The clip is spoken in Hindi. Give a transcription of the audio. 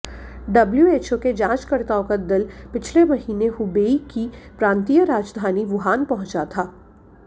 डब्ल्यूएचओ के जांचकर्ताओं का दल पिछले महीने हुबेई की प्रांतीय राजधानी वुहान पहुंचा था